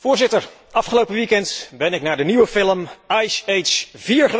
Afgelopen weekeinde ben ik naar de nieuwe film Ice Age 4 geweest.